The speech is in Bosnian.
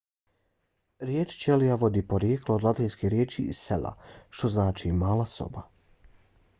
riječ ćelija vodi porijeklo od latinske riječi cella što znači mala soba